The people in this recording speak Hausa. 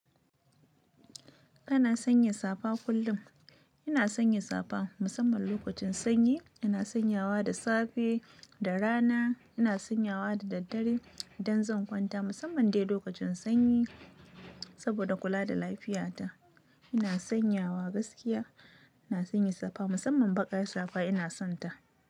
Ina sanya safa kullum. Ina sanya safa musamman lokacin sanyi. Ina sanyawa da safe da rana, ina sanyawa da daddare idan zan kwanta musamman dai lokacin sanyi saboda kula da lafiyata. Ina sanyawa gaskiya, ina sanya safa musamman baƙar safa ina sonta.